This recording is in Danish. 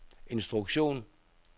instruktion